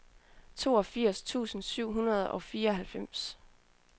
toogfirs tusind syv hundrede og fireoghalvfems